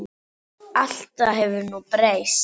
Allt það hefur nú breyst.